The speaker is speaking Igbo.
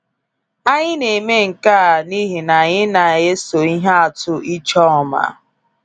Anyị na-eme nke a n’ihi na anyị na eso ihe atụ Ijoma.